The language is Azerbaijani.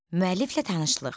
Müəlliflə tanışlıq.